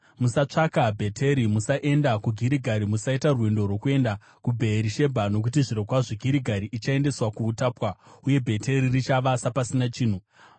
musatsvaka Bheteri, musaenda kuGirigari, musaita rwendo rwokuenda kuBheerishebha. Nokuti zvirokwazvo Girigari ichaendeswa kuutapwa, uye Bheteri richava sapasina chinhu.”